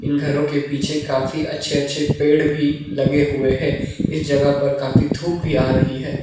इन घरों के पीछे काफी अच्छे अच्छे पेड़ भी लगे हुए हैं इस जगह पर काफी धूप भी आ रही है।